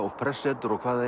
og prestssetur og hvað